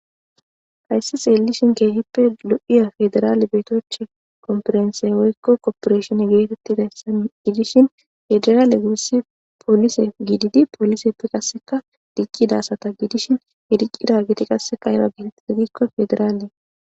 Hayssi tsellishin keehippe lo'o faderale betoochchi komfurense woyko kopereshene geetetidi dayssanne giddishin faderale gusi polise giddidi poliseppeka qassikka diccida asata giddishin he diccidageti qassikka faderale.